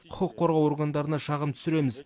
құқық қорғау органдарына шағым түсіреміз